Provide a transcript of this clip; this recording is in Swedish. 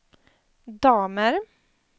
damer